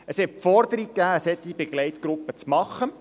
Es gab Forderungen, eine solche Begleitgruppe zu machen.